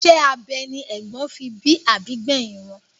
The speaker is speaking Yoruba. Isẹ́ abẹ ni ègbón fi bí àbí gbẹ̀hìn wọn.